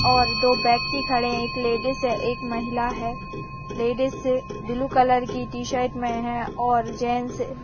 और दो व्यक्ति खड़े हैं एक लेडिज है एक महिला है। लेडिज ब्लू कलर कि टी शर्ट में है और जेंट्स --